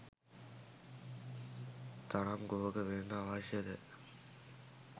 තරම් කුහක වෙන්න අවශ්‍යද?